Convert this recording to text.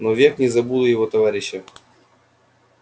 но век не забуду его товарища